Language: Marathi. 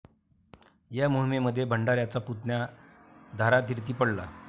या मोहिमेमध्ये भंडाऱ्यांचा पुतण्या धारातीर्थी पडला.